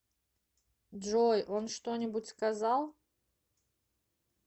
джой он что нибудь сказал